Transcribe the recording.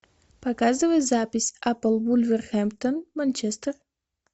показывай запись апл вулверхэмптон манчестер